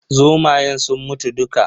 Zomayen sun mutu dukka.